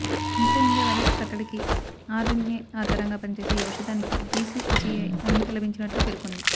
influenza virus కట్టడికి RNA ఆధారంగా పనిచేసే ఈ ఔషధానికి డీసీజీఐ అనుమతి లభించినట్లు పేర్కొంది